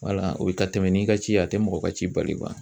o bɛ taa tɛmɛ n'i ka ci ye a tɛ mɔgɔ ka ci bali